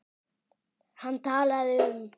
Hann talaði um